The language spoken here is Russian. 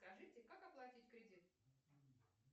скажите как оплатить кредит